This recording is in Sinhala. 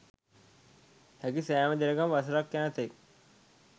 හැකි සෑම දිනකම වසරක් යන තෙක්